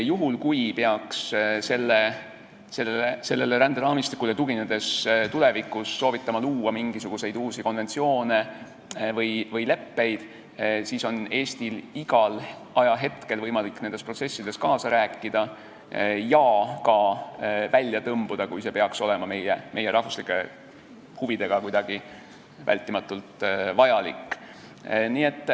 Juhul kui sellele ränderaamistikule tuginedes peaks tulevikus soovitama luua mingisuguseid uusi konventsioone või leppeid, siis on Eestil igal hetkel võimalik selles protsessis kaasa rääkida ja sellest ka välja tõmbuda, kui see peaks olema meie rahvuslike huvide tõttu vältimatult vajalik.